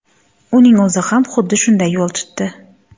Uning o‘zi ham xuddi shunday yo‘l tutdi .